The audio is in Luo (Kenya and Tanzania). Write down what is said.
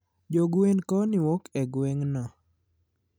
jogwen koni wuoke gwengno